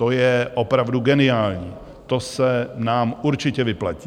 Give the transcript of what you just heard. To je opravdu geniální, to se nám určitě vyplatí.